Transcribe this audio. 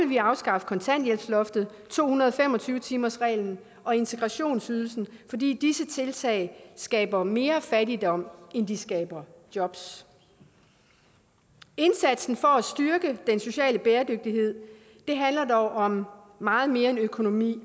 vi afskaffe kontanthjælpsloftet to hundrede og fem og tyve timersreglen og integrationsydelsen fordi disse tiltag skaber mere fattigdom end de skaber jobs indsatsen for at styrke den sociale bæredygtighed handler dog om meget mere end økonomi